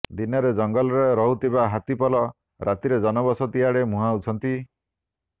ଦିନରେ ଜଙ୍ଗଲରେ ରହୁଥିବା ହାତୀପଲ ରାତିରେ ଜନବସତି ଆଡେ ମୁହାଁଉଛନ୍ତି